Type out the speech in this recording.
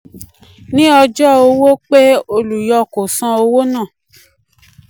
ní ọjọ́ um owó um pé olùyọ kò san owó náà